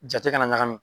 Jate kana ɲagami